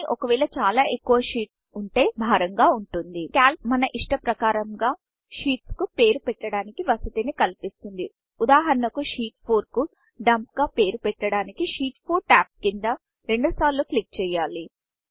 కానీ ఒకవేళ చాలా ఎక్కువగా షీట్స్ షీట్స్వుంటే భారం గా వుంటుంది కాల్క్ మన ఇష్ట ప్రకారంగా షీట్ షీట్కు పేరు పెట్టడానికి వసతిని కల్పిస్తుంది ఉదాహరణకు షీట్ 4 కు డంప్ డంప్గా పేరు పెట్టడానికి షీట్ 4టాబ్ కింద రెండుసార్లు క్లిక్ చేయాలి